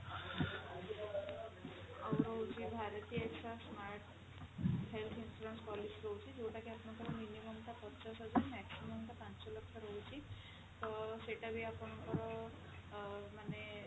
ଆଉ ରହୁଛି bharti axa smart health insurance policy ରହୁଛି ଯୋଉଟା କି ଆପଣଙ୍କର minimum ଟା ପଚାଶ ହଜାର maximum ଟା ପାଞ୍ଚ ଲକ୍ଷ ରହୁଛି ତ ସେଟା ବି ଆପଣଙ୍କର ଅ ମାନେ